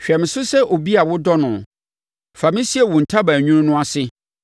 Hwɛ me so sɛ obi a wodɔ no; fa me sie wo ntaban nwunu no ase